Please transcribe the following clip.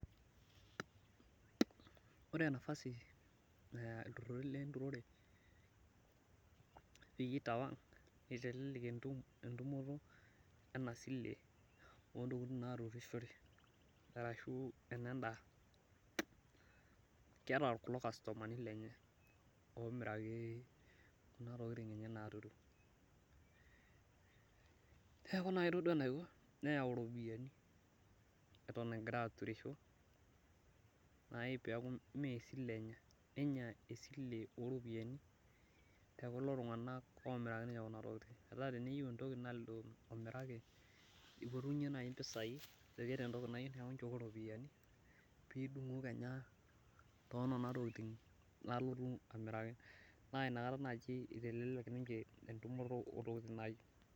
Ore nafasi naya iltururi lenturore peyie eitawang netelelek entumoto ena silen oontokiting naturishore ashu enendaa ,keeta kulo kastomani lenye omiraki kuna tokiting naaturu ,neeku ore naaji enaiko nayau ropiyiani eton egira aturisho naaji pee mee esile enya ,nenya esile oropiyiani tekulo tungak omiraki ninche kuna tokiting ,metaa teneyieu niche entoki naa lido omiraki eipotunye naaji mpisai ,ajo keeta entoki nayieu neeku nchooki ropiyiani pee idungu kenya tonena tokiting nalotu amiraki ,naa inakata eitelek ninche entumoto oontokiting nayieu.